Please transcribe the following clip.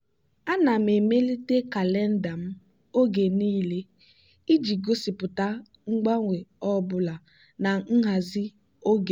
ana m emelite kalenda m oge niile iji gosipụta mgbanwe ọ bụla na nhazi oge m.